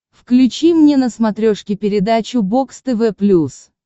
включи мне на смотрешке передачу бокс тв плюс